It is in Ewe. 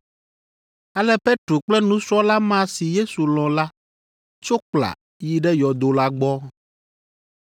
Ale Petro kple nusrɔ̃la ma si Yesu lɔ̃ la tso kpla yi ɖe yɔdo la gbɔ.